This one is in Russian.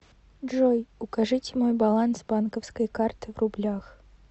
джой укажите мой баланс банковской карты в рублях